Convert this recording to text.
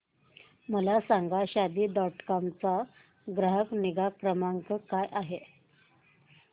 मला सांगा Shaadi dot com चा ग्राहक निगा क्रमांक काय आहे